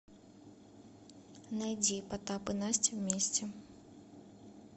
найди потап и настя вместе